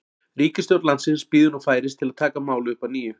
Ríkisstjórn landsins bíður nú færis til að taka málið upp að nýju.